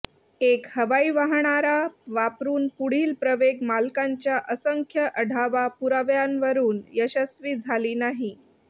एक हवाई वाहणारा वापरून पुढील प्रवेग मालकांच्या असंख्य आढावा पुराव्यांवरून यशस्वी झाली नाही